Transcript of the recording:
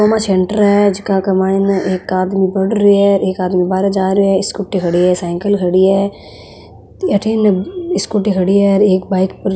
trauma centre है जका के मायने एक आदमी भड़ रियो है एक आदमी बहार जा रहे है स्कूटी खड़ी है साइकल खड़ी है अठीन स्कूटी खड़ी है एक बाइक पर --